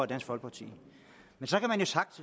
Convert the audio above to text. dansk folkeparti men